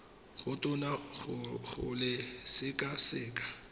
go tona go le sekaseka